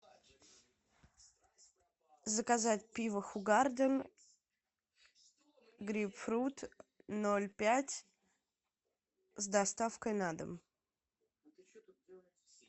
заказать пиво хугарден грейпфрут ноль пять с доставкой на дом